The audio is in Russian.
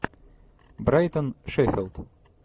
брайтон шеффилд